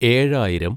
ഏഴായിരം